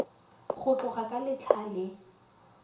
go tloga ka letlha le